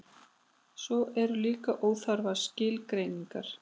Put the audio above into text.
svo eru líka óþarfar skilgreiningar